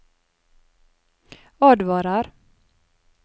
advarer